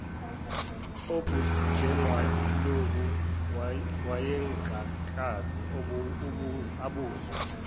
obunjengalobu wayengakaze abuzwe